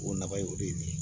O nafa ye o de ye